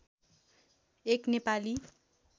एक नेपाली